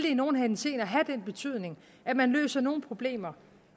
i nogle henseender have den betydning at man løser nogle problemer